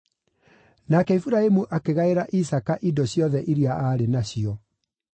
Nake Iburahĩmu akĩgaĩra Isaaka indo ciothe iria aarĩ nacio.